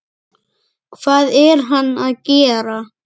Hvað er hann að gera?